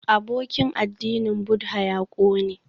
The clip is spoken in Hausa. Abokin addinin Buddha ya ƙone